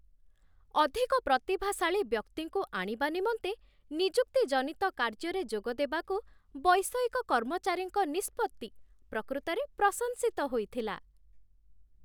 ଅଧିକ ପ୍ରତିଭାଶାଳୀ ବ୍ୟକ୍ତିଙ୍କୁ ଆଣିବା ନିମନ୍ତେ ନିଯୁକ୍ତି ଜନିତ କାର୍ଯ୍ୟରେ ଯୋଗଦେବାକୁ ବୈଷୟିକ କର୍ମଚାରୀଙ୍କ ନିଷ୍ପତ୍ତି ପ୍ରକୃତରେ ପ୍ରଶଂସିତ ହୋଇଥିଲା।